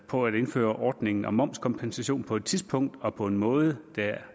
på at indføre ordningen om momskompensation på et tidspunkt og på en måde der er